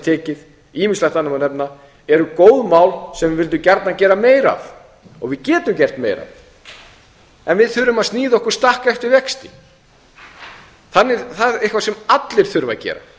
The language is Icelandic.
tekið ýmislegt annað má nefna eru góð mál sem við vildum gjarnan gera meira af og við getum gert meira en við þurfum að sníða okkur stakk eftir vexti það er eitthvað sem allir þurfa að gera